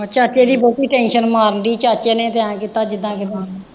ਚਾਚੇ ਦੀ ਬਹੁਤੀ tension ਮਾਰਦੀ ਚਾਚੇ ਨੇ ਤਾਂ ਐਂ ਕੀਤਾ ਜਿਦਾਂ ਕਿਦਾਂ